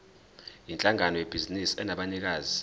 yinhlangano yebhizinisi enabanikazi